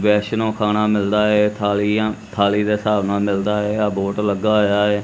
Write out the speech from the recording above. ਵੈਸ਼ਨੋ ਖਾਣਾ ਮਿਲਦਾ ਐ ਥਾਲੀਆਂ ਥਾਲੀ ਦੇ ਹਿਸਾਬ ਨਾਲ ਮਿਲਦਾ ਐ ਏ ਬੋਰਡ ਲੱਗਾ ਹੋਇਆ ਐ।